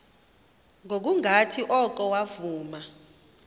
ngokungathi oko wavuma